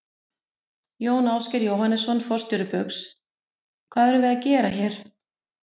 Jón Ásgeir Jóhannesson, forstjóri Baugs: Hvað erum við að gera hér?